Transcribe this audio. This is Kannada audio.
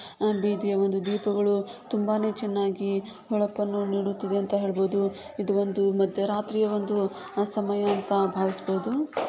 ಅ- ಬೀದಿಯ ಒಂದು ದೀಪಗಳು ತುಂಬಾನೇ ಚೆನ್ನಾಗಿ ಹೊಳಪನ್ನು ನೀಡುತ್ತಿದೆ ಅಂತ ಹೇಳ್ಬೋದು ಇದು ಒಂದು ಮಧ್ಯರಾತ್ರಿಯ ಒಂದು ಸಮಯ ಅಂತ ಭಾವಿಸಬೋದು.